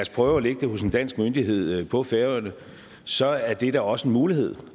prøve at lægge det hos en dansk myndighed på færøerne så er det da også en mulighed